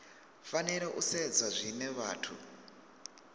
fanela u sedzwa zwine vhathu